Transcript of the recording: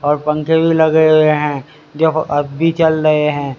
और पंखे भी लगे हुए हैं देखो अब भी चल रहे हैं।